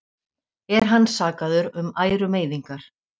Er hann sakaður um ærumeiðingar